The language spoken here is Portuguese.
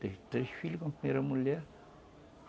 Teve três filhos com a primeira mulher.